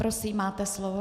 Prosím, máte slovo.